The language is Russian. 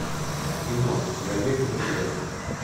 кино человек ноября